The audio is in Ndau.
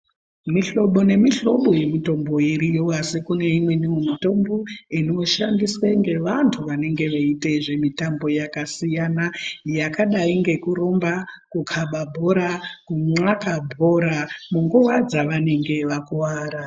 Mihlobo nemihlobo yemitombo iriyo asi kune imweni mitombo inoshandiswa nevantu vanenge veita zvemitambo yakasiyana yakadai ngekurumba kukaba bhora kunka bhora munguwa dzavanenge vakuwara.